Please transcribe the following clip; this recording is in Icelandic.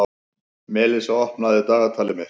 Melissa, opnaðu dagatalið mitt.